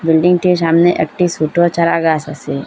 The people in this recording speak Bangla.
বিল্ডিংটির সামনে একটি সুটো চারা গাস আসে।